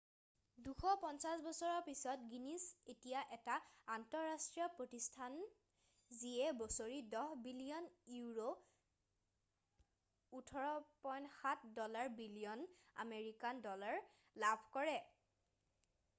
২৫০ বছৰ পিছত গিনিছ এতিয়া এটা আন্তঃৰাষ্ট্ৰীয় প্ৰতিষ্ঠান যিয়ে বছৰি ১০ বিলিয়ন ইউৰো $১৪.৭ বিলিয়ন আমেৰিকান ডলাৰ লাভ কৰে।